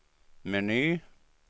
meny